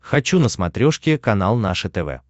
хочу на смотрешке канал наше тв